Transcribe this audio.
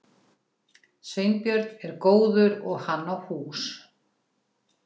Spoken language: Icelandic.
Sveinbjörn er góður og hann á hús.